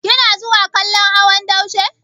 Kina zuwa kallon hawan daushe?